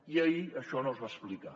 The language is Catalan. i ahir això no es va explicar